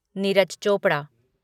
Neeraj Chopra